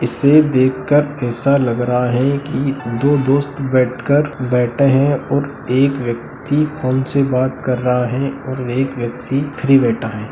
इसे देख कर ऐसा लग रहा हैं कि दो दोस्त बैठ कर बैठे हैं और एक व्यक्ति फ़ोन से बात कर रहा और एक व्यक्ति फ्री बैठा हैं।